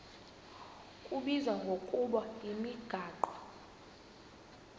kubizwa ngokuba yimigaqo